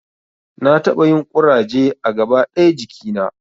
Na taɓa yin ƙuraje a gaba ɗaya jikina